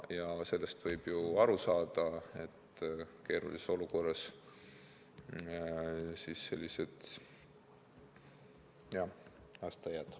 Ja sellest võib aru saada, et keerulises olukorras on sellised meeleolud.